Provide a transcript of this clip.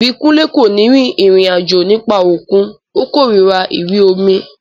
Ìbíkúnlé kò ní rin ìrìn àjò nípa òkun, ó kòrira ìrí omi